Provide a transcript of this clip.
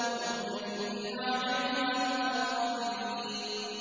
مُّتَّكِئِينَ عَلَيْهَا مُتَقَابِلِينَ